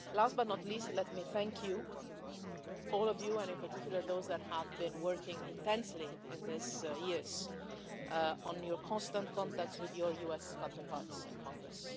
Last but not least, let me thank all the House, and in particular those of you who have been working intensely over these years on your constant contacts with your US counterparts in Congress.